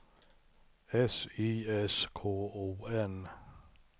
S Y S K O N